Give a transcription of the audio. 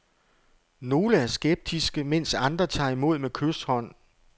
Nogle er skeptiske, mens andre tager imod med kyshånd.